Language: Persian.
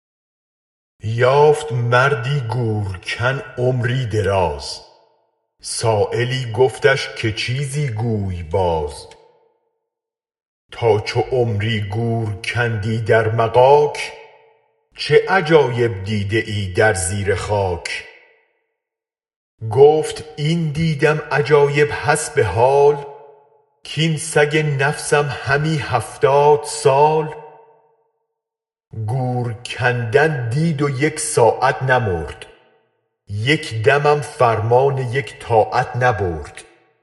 یافت مردی گورکن عمری دراز سایلی گفتش که چیزی گوی باز تا چو عمری گور کندی در مغاک چه عجایب دیده ای در زیر خاک گفت این دیدم عجایب حسب حال کین سگ نفسم همی هفتاد سال گور کندن دید و یک ساعت نمرد یک دمم فرمان یک طاعت نبرد